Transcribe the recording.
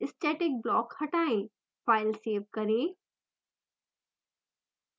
static block हटाएँ file save करें